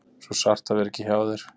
Svo sárt að vera ekki hjá þér.